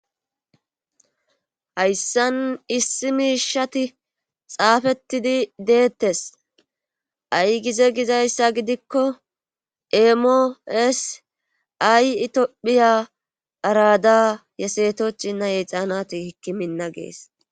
Hayssan issi miishati xaafetidi deetees. Ay gize gizayssa gidikko eemo ees ay etophiya arada yesetochinna yehixanati hikimina ges.